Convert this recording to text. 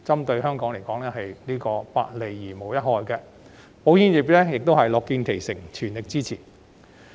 對香港而言，這是百利而無一害的，保險業亦樂見其成，全力支持。